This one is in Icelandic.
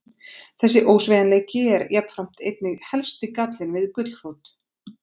Þessi ósveigjanleiki er jafnframt einnig helsti gallinn við gullfót.